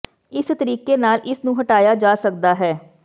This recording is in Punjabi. ਇਸੇ ਤਰੀਕੇ ਨਾਲ ਇਸ ਨੂੰ ਹਟਾਇਆ ਜਾ ਸਕਦਾ ਹੈ